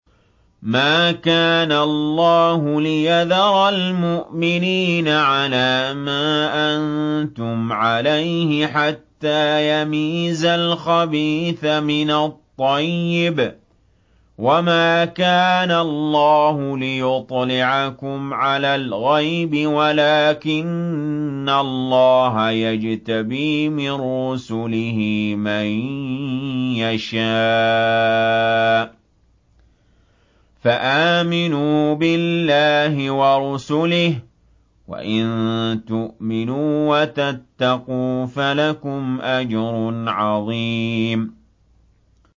مَّا كَانَ اللَّهُ لِيَذَرَ الْمُؤْمِنِينَ عَلَىٰ مَا أَنتُمْ عَلَيْهِ حَتَّىٰ يَمِيزَ الْخَبِيثَ مِنَ الطَّيِّبِ ۗ وَمَا كَانَ اللَّهُ لِيُطْلِعَكُمْ عَلَى الْغَيْبِ وَلَٰكِنَّ اللَّهَ يَجْتَبِي مِن رُّسُلِهِ مَن يَشَاءُ ۖ فَآمِنُوا بِاللَّهِ وَرُسُلِهِ ۚ وَإِن تُؤْمِنُوا وَتَتَّقُوا فَلَكُمْ أَجْرٌ عَظِيمٌ